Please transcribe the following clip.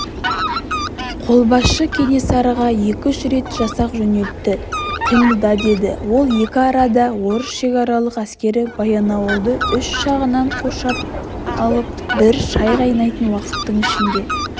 қолбасшы кенесарыға екі-үш рет жасақ жөнелтті қимылда деді ол екі арада орыс шекаралық әскері баянауылды үш жағынан қоршап алып бір шай қайнайтын уақыттың ішінде